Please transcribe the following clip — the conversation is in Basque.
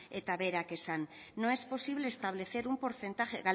eta